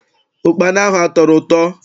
Ukpana ahụ atọrọ ụtọ?